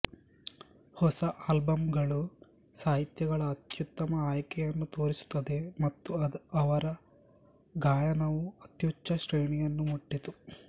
ಹೊಸ ಆಲ್ಬಂಗಳು ಸಾಹಿತ್ಯಗಳ ಅತ್ಯುತ್ತಮ ಆಯ್ಕೆಯನ್ನು ತೋರಿಸುತ್ತದೆ ಮತ್ತು ಅವರ ಗಾಯನವು ಅತ್ಯುಚ್ಛ ಶ್ರೇಣಿಯನ್ನು ಮುಟ್ಟಿತು